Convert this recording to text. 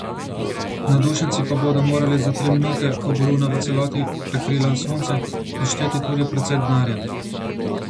Navdušenci pa bodo morali za tri minute, ko bo luna v celoti prekrila sonce, odšteti tudi precej denarja.